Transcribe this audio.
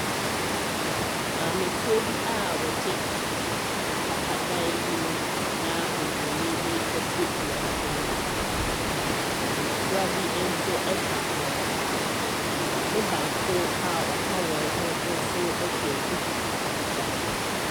Maamefoɔ bi a wɔte mpapa dan bi mu, na oburoni bi te wɔn anim, na mmɔfra bi nso ka wɔn ho, na maame baako a ɔka wɔn ho nso hyɛ duku fitaa.